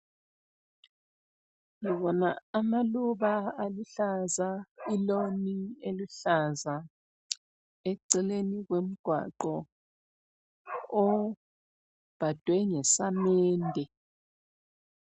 Ngibona amaluba aluhlaza, ilawn eluhlaza. Ekucineni komgwaqo obhadwe ngesamende.